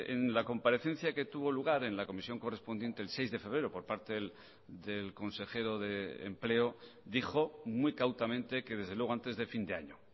en la comparecencia que tuvo lugar en la comisión correspondiente el seis de febrero por parte del consejero de empleo dijo muy cautamente que desde luego antes de fin de año